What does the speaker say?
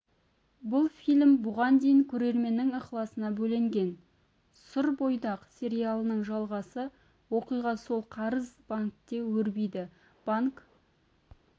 бұл фильм бұған дейін көрерменнің ықыласына бөленген сүрбойдақ сериалының жалғасы оқиға сол қарыз банкте өрбиді банк